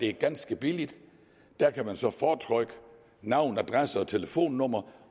er ganske billigt der kan man så fortrykke navn adresse og telefonnummer